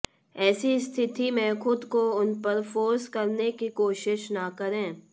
ऐसी स्थिति में खुद को उन पर फोर्स करने की कोशिश न करें